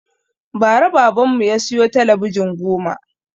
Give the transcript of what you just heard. Ba ra baban mu ya siyo talabijin goma